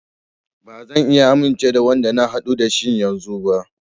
Ba zan iya amince da Wanda na haɗu da shi yanzun ba.